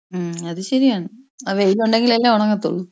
ഉം അത് ശരിയാണ് വെയിൽ ഉണ്ടെങ്കിൽ അല്ലെ ഉണങ്ങത്തൊള്ളൂ.